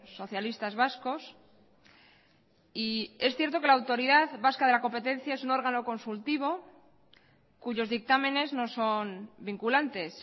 socialistas vascos y es cierto que la autoridad vasca de la competencia es un órgano consultivo cuyos dictámenes no son vinculantes